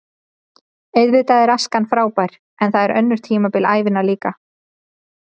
Auðvitað er æskan frábær en það eru önnur tímabil ævinnar líka.